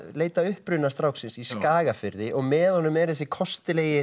leita að uppruna stráksins í Skagafirði og með honum er þessi kostulegi